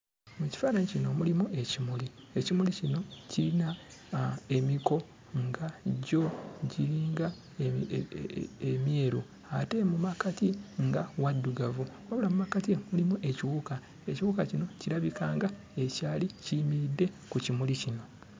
Mu kifaananyi kino mulimu ekimuli, ekimuli kino kiyina emiko nga gyo giringa emyeru ate mu makkati nga waddugavu, wabula mu makkati mulimu ekiwuka. Ekiwuka kino kirabika nga ekyali kiyimiridde ku kimuli kino.